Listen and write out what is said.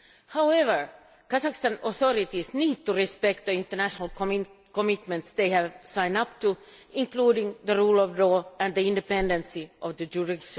However, the Kazakh authorities need to respect the international commitments they have signed up to, including the rule of law and the independence of the judiciary.